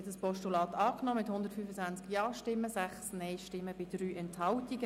Sie haben das Postulat angenommen mit 125 Ja- zu 6 Nein-Stimmen bei 3 Enthaltungen.